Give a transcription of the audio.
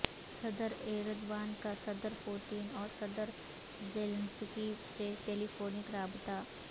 صدر ایردوان کا صدر پوتین اور صدر زیلنسکی سے ٹیلی فونک رابطہ